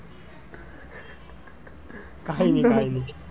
કાઈ ની કાઈ ની,